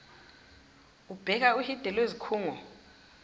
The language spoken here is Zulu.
ubheka uhide lwezikhungo